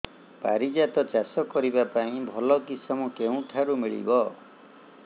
ପାରିଜାତ ଚାଷ କରିବା ପାଇଁ ଭଲ କିଶମ କେଉଁଠାରୁ ମିଳିବ